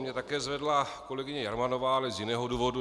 Mě také zvedla kolegyně Jermanová, ale z jiného důvodu.